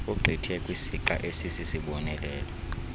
ogqithe kwisixa esisisibonelelo